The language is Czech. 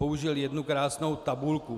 Použil jednu krásnou tabulku.